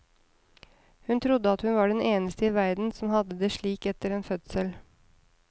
Hun trodde at hun var den eneste i verden som hadde det slik etter en fødsel.